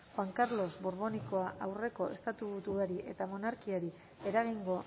juan carlos borboikoa aurreko estatuburuari eta monarkiari eragingo